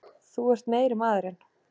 Þú ert meiri maðurinn!